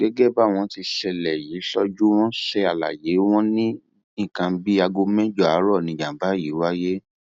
gẹgẹ báwọn tíṣẹlẹ yìí ṣojú wọn ṣe ṣàlàyé wọn ní nǹkan bíi aago mẹjọ àárọ ni ìjàmbá yìí wáyé